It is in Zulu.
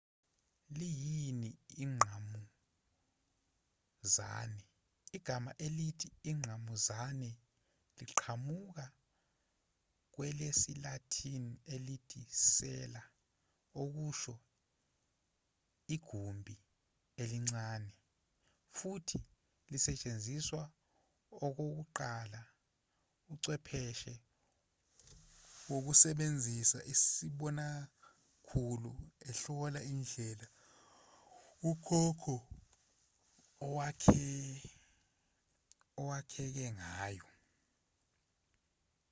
liyini ingqamuzane igama elithi ingqamuzane liqhamuka kwelesi-latin elithi cella okusho igumbi elincane futhi lasetshenziswa okokuqala uchwepheshe wokusebenzisa isibonakhulu ehlola indlela ukhokho owakheke ngayo